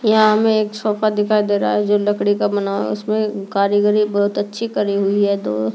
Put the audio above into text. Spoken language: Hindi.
यहां हमें एक सोफा दिखाई दे रहा है जो लकड़ी का बना है उसमें कारीगरी बहुत अच्छी करी हुई है तो--